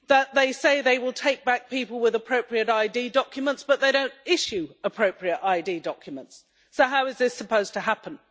They say that they will take back people with appropriate ID documents but they do not issue appropriate ID documents, so how is this supposed to happen?